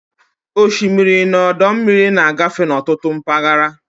Osimiri na ọdọ mmiri na-agafe n'ọtụtụ mpaghara.